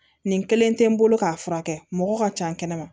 Nin kelen tɛ n bolo k'a furakɛ mɔgɔ ka ca kɛnɛ ma